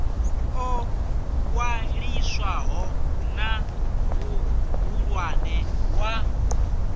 ḽo ṅwaliswaho na muhulwane wa